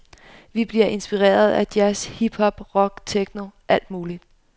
Vi bliver inspireret af jazz, hip hop, rock, techno, alt muligt.